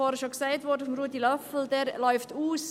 Ich glaube, Ruedi Löffel hat es vorhin bereits gesagt.